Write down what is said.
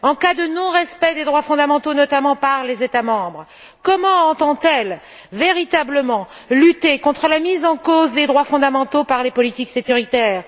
En cas de non respect des droits fondamentaux, notamment par les États membres, comment entend elle véritablement lutter contre la mise en cause de ces droits par les politiques sécuritaires?